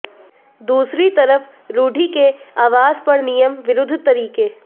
दूसरी तरफ रूढ़ी के आवास पर नियम विरुद्ध तरीके